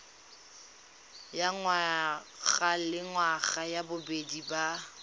ya ngwagalengwaga ya bobedi ya